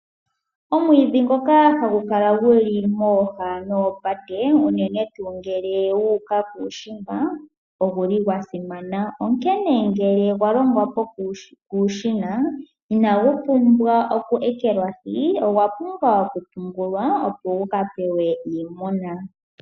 Omwiidhi ngoka hagu kala guli mooha dhoopate unene tuu ngele wu uka kuushimba. Ogwa simana, oshoka ngele gwa longwa kuushina inagu pumbwa okuekelwahi, ogwa pumbwa okupungulwa opo guka pewe iimuna.